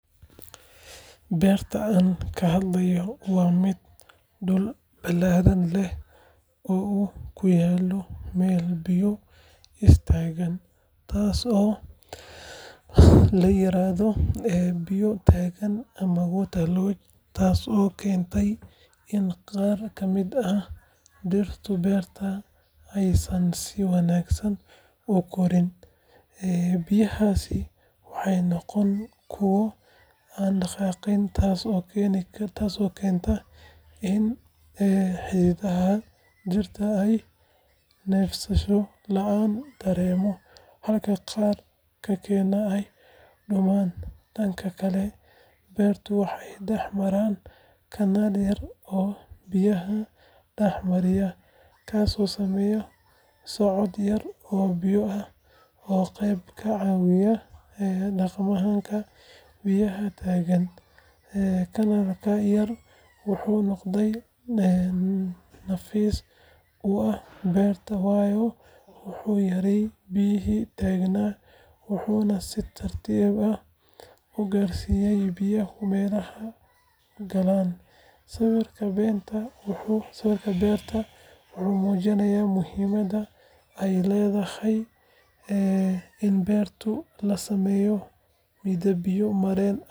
Beerta aan ka hadlayo waa mid dhul ballaaran leh oo uu ku yaallo meel biyuhu is taagaan, taasoo la yiraahdo biyo taagan ama water lodge, taasoo keentay in qaar ka mid ah dhirta beerta aysan si wanaagsan u koraan. Biyahaasi waxay noqdeen kuwo aan dhaqaaqin, taasoo keenta in xididdada dhirta ay neefsasho la’aan dareemaan, halka qaar kalena ay qudhmaan. Dhanka kale, beertan waxaa dhex mara kanaal yar oo biyaha dhex mariya, kaasoo sameeya socod yar oo biyo ah oo qayb ka caawiya dhaqdhaqaaqa biyaha taagan. Kanaalkaas yar wuxuu noqday nafis u ah beerta, waayo wuxuu yareeyay biyihii taagnaa, wuxuuna si tartiib ah u gaarsiiyay biyaha meelaha qalalan. Sawirka beertan wuxuu muujinayaa muhiimadda ay leedahay in beerta laga sameeyo nidaam biyo-mareen ah.